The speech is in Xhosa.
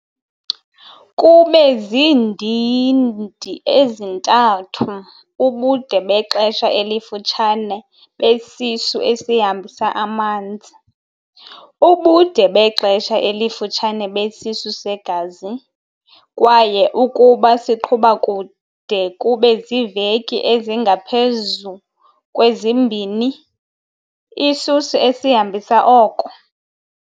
Kube ziindidi ezintathu- ubude bexesha elifutshane besisu esihambisa amanzi, ubude bexesha elifutshane besisu segazi, kwaye ukuba siqhuba kude kube ziiveki ezingaphezu kwezimbini, isisu esihambisa oko.